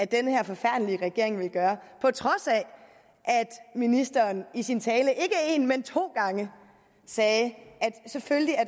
den her forfærdelige regering vil gøre på trods af at ministeren i sin tale ikke én men to gange sagde at selvfølgelig er